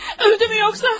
Öldü mü yoxsa?